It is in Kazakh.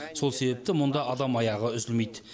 сол себепті мұнда адам аяғы үзілмейді